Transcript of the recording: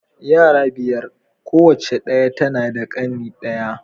Yara biyar. Kowace diya tana da ƙane ɗaya.